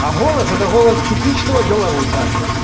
а голос это голос типичного белоруса